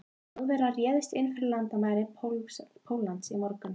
Þjóðverjar réðust inn fyrir landamæri Póllands í morgun.